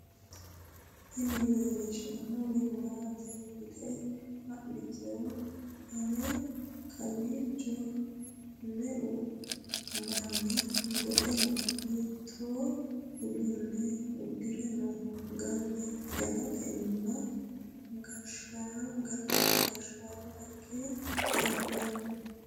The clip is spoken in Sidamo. tini leellishshannori maati yite xa'moottoe ane ? kowiicho me''u manni goxe no ? hiito uduunne uddire no ? galtenna gashshaama ikka dandaanno?